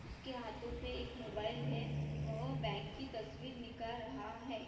उसके हाथो पे एक मोबाइल है वह बैंक की तस्वीर निकाल रहा है।